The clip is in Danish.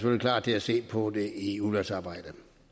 klar til at se på det i udvalgsarbejdet